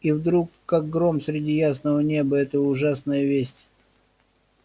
и вдруг как гром среди ясного неба эта ужасная весть